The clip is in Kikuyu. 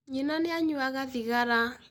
Nyina nĩ anyuaga thigara